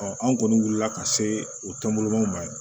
an kɔni wuli la ka se o tɔnbɔlɔ ma ye